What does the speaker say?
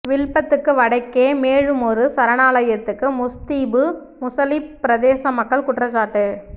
வில்பத்துக்கு வடக்கே மேலுமொரு சரணாலயத்துக்கு முஸ்தீபு முசலிப் பிரதேச மக்கள் குற்றச்சாட்டு